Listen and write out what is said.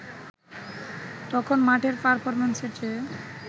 তখন মাঠের পারফরম্যান্সের চেয়ে